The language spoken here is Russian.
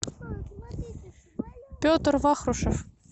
петр вахрушев